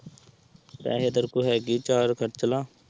ਪੈਹੇ ਤੇਰੇ ਕੋਲ਼ ਹੈਗੇ ਚਾਰ ਖਰਚ ਲੈ।